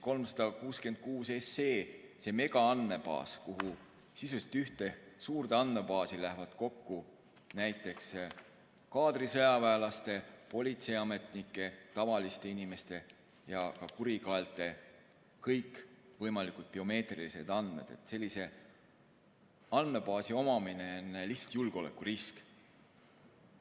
366 SE, see megaandmebaas, kuhu, sisuliselt ühte suurde andmebaasi, lähevad kokku näiteks kaadrisõjaväelaste, politseiametnike, tavaliste inimeste ja kurikaelte kõikvõimalikud biomeetrilised andmed – sellise andmebaasi omamine on lihtsalt julgeolekurisk.